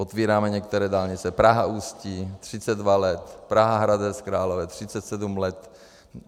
Otevíráme některé dálnice, Praha - Ústí 32 let, Praha - Hradec Králové 37 let.